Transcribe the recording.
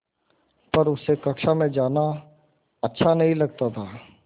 पर उसे कक्षा में जाना अच्छा नहीं लगता था